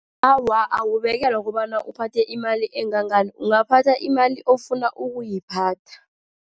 Awa, awukubekelwa kobana uphathe imali engangani. Ungathatha imali ofuna ukuyiphatha.